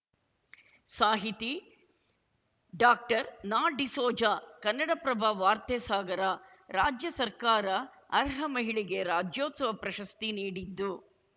ಸಾಹಿತಿ ಡಾಕ್ಟರ್ನಾಡಿಸೋಜ ಕನ್ನಡಪ್ರಭ ವಾರ್ತೆ ಸಾಗರ ರಾಜ್ಯ ಸರ್ಕಾರ ಅರ್ಹ ಮಹಿಳೆಗೆ ರಾಜ್ಯೋತ್ಸವ ಪ್ರಶಸ್ತಿ ನೀಡಿದ್ದು